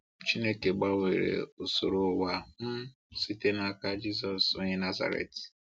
Chineke gbanwere usoro ụwa um site n’aka Jisọs onye Nazaret.